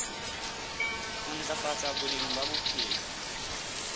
ho ntlafatsa boleng ba bophelo